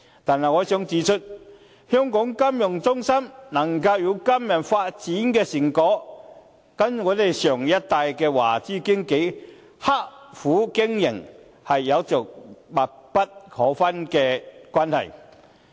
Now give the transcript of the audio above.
但是，我想指出，香港金融中心能夠有今日發展的成果，跟我們上一代的華資經紀刻苦經營，是有着密不可分的關係。